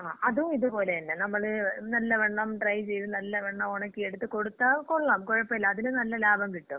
ങാ, ആ അതും ഇതുപോലെതന്ന. നമ്മള് നല്ലവണ്ണം ഡ്രൈ ചെയ്ത്, നല്ലവണ്ണം ഉണക്കിയെടുത്ത് കൊടുത്താ കൊള്ളാം. കൊഴപ്പില്ല. അതിലും നല്ല ലാഭം കിട്ടും.